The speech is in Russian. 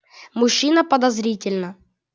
мужчина подозрительно